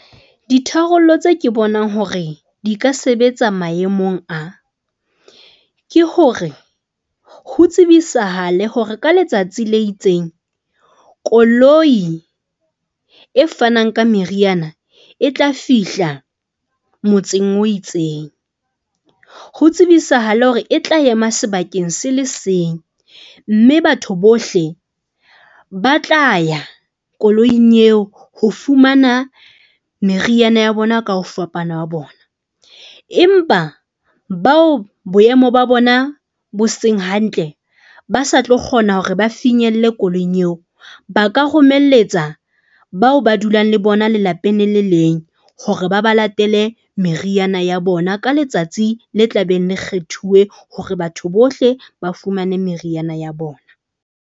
Ditharollo tse ke bonang hore di ka sebetsa maemong a ke hore ho tsebisahale hore ka letsatsi le itseng koloi e fanang ka meriana e tla fihla motseng o itseng. Ho tsebisahale hore e tla ema sebakeng se le seng mme batho bohle ba tla ya koloing eo ho fumana meriana ya bona ka ho fapana ha bona, empa bao boemo ba bona bo seng hantle ba sa tlo kgona hore ba finyelle koloing eo. Ba ka romeletsa bao ba dulang le bona lelapeng le le leng hore ba ba latele meriana ya bona. Ka letsatsi le tla beng le kgethuwe hore batho bohle ba fumane meriana ya bona.